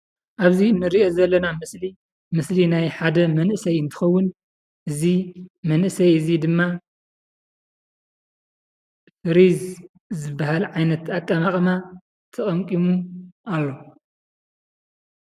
ኣብዚ እንርእዮ ዘለና ምስሊ ምሰሊ ናይ ሓደ መንእሰይ እንትከውን እዚ መንእሰይ እዚ ድማ ፍሪዝ ዝበሃል ዓይነት ኣቀማቅማ ተቀምቂሙ ኣሎ።